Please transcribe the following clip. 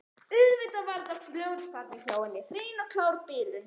Auðvitað var þetta fljótfærni hjá henni, hrein og klár bilun.